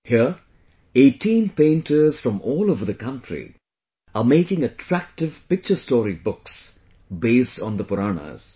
Here 18 painters from all over the country are making attractive picture story books based on the Puranas